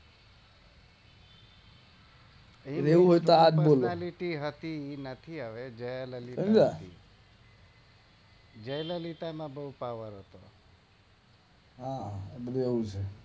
એ નથી હવે માં બોવ પાવર હોઈ હા બધું એવું જ હોઈ